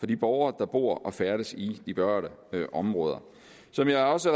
de borgere der bor og færdes i de berørte områder som jeg også